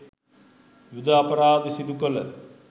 යුධ අපරාධ සිදුකළ